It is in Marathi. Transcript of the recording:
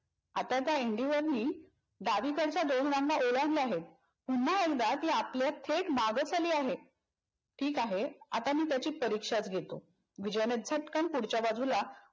आता त्या indigo नी डावीकडच्या दोन रांगा ओलांडल्या आहेत. पुन्हा एकदा ती आपल्या थेट मागेच आली आहे. ठीक आहे आता मी त्याची परिक्षाच घेतो, विजयने झटकन पुढच्या बाजूला